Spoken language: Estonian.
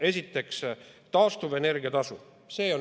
Esiteks, taastuvenergia tasu.